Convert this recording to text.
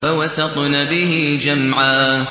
فَوَسَطْنَ بِهِ جَمْعًا